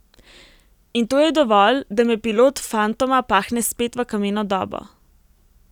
In to je dovolj, da me pilot fantoma pahne spet v kameno dobo ...